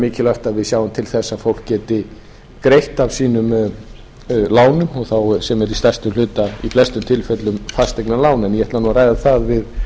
mikilvægt að við sjáum til þess að fólk geti greitt af sínum lánum sem eru að stærstum hluta í flestum tilfellum fasteignalán en ég ætla að ræða það við